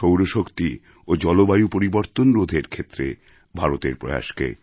সৌর শক্তি ও জলবায়ু পরিবর্তন রোধের ক্ষেত্রে ভারতের প্রয়াসকে